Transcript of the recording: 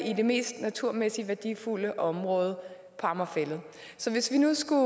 i det mest naturmæssigt værdifulde område på amager fælled så hvis vi nu skulle